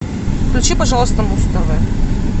включи пожалуйста муз тв